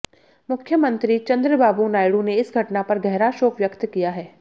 मुख्यमंत्री चंद्रबाबू नायडू ने इस घटना पर गहरा शोक व्यक्त किया है